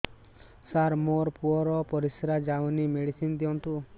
ସାର ମୋର ପୁଅର ପରିସ୍ରା ଯାଉନି ମେଡିସିନ ଦିଅନ୍ତୁ